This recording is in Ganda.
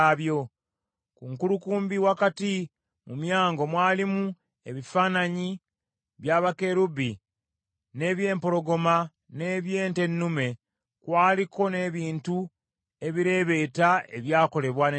Ku nkulukumbi wakati mu myango mwalimu ebifaananyi bya bakerubi n’eby’empologoma, n’eby’ente ennume; kwaliko n’ebintu ebireebeeta ebyakolebwa n’emikono.